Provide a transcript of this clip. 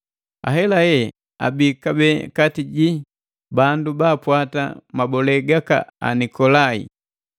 Ahelahe abii kabee kati jii bandu baapwata mabolee gaka Anikolai.